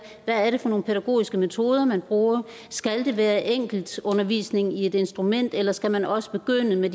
hvad det er for nogen pædagogiske metoder man bruger skal det være enkeltundervisning i et instrument eller skal man også begynde med